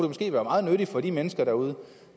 måske være meget nyttigt for de mennesker derude